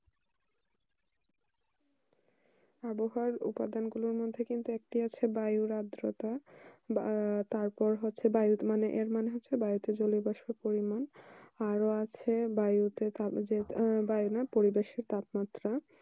আবহাওয়া উপাদান গুলির মধ্যে কিন্তু দেশের বাইরের আদ্রতা বা তারপর হচ্ছে বায়ু পরিমাণ আরো আছে বাড়িতে বাড়িতে জানে না পরিবেশের তাপমাত্রা